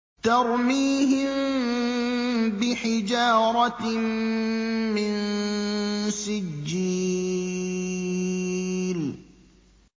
تَرْمِيهِم بِحِجَارَةٍ مِّن سِجِّيلٍ